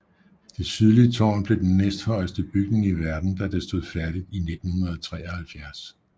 Det sydlige tårn blev den næsthøjeste bygning i verden da det stod færdigt i 1973